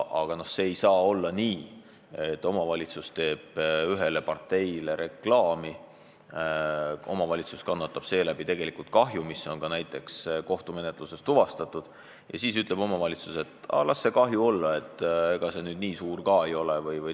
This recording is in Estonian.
Ei tohiks olla nii, et omavalitsus teeb ühele parteile reklaami, omavalitsus kannab seeläbi kahju, mis on ka kohtumenetluses tuvastatud, ja siis ütleb omavalitsus, et las see kahju olla, ega see nüüd nii suur ka ei ole.